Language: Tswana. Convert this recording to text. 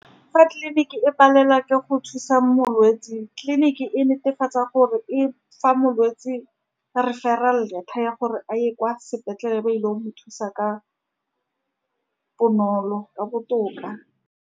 Fa tleliniki e palelwa ke go thusa molwetse, tleliniki e netefatsa gore e fa molwetse referral letter ya gore a ye kwa sepetlele, ba ile go mo thusa ka bonolo, ka botoka.